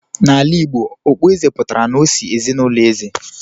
n'ala Igbo, okpueze pụtara n'osi ezinụlọ eze